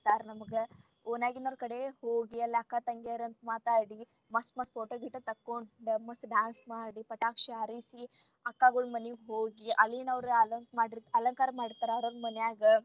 ನಮಗ ಓಣ್ಯಾಗಿನೋರ ಕಡೆ ಹೋಗಿ ಎಲ್ಲಾ ಅಕ್ಕ ತಂಗ್ಯಾರ ಅಂತ ಮಾತಾಡಿ ಮಸ್ತ್ ಮಸ್ತ್ photo ಗಿಟೊ ತಕ್ಕೊಂಡ ಮಸ್ತ್ dance ಮಾಡಿ ಪಟಾಕ್ಷಿ ಹಾರಿಸಿ ಅಕ್ಕಗೋಳ್ ಮನಿಗ್ ಹೋಗಿ ಅಲ್ಲಿನೂರ ಅಲಂಕಾರ ಮಾಡಿರತರ ಅವ್ರ ಅವ್ರ ಮನ್ಯಾಗ.